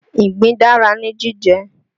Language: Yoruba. Ìgbín dára ní jíjẹ